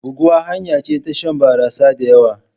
Buguwa hanya ce ta shan barasa da yawa.